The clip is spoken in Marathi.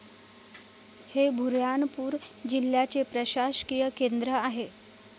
हे बुऱ्हाणपूर जिल्ह्याचे प्रशासकीय केंद्र आहे.